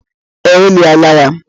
Ee, eliela ya.